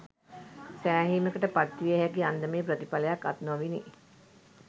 සෑහීමකට පත්විය හැකි අන්දමේ ප්‍රතිඵලයක් අත් නොවිණි